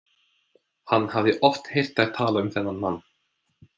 Hann hafði oft heyrt þær tala um þennan mann.